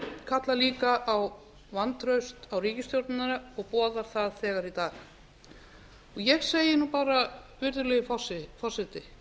kallar líka á vantraust á ríkisstjórnina og boðar það þegar í dag ég segi bara virðulegi forseti loksins